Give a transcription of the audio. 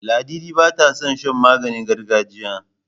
Ladidi bata son shan maganingargajiya.